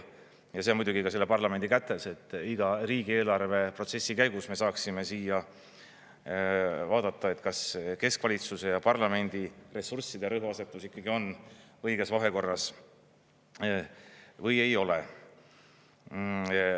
Ja see on muidugi selle parlamendi kätes, et iga riigieelarve protsessi käigus me saaksime siia vaadata, kas keskvalitsuse ja parlamendi ressursside rõhuasetus ikkagi on õiges vahekorras või ei ole.